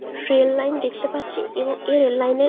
rail line দেখতে পাচ্ছি এবং এই রেল লাইনে --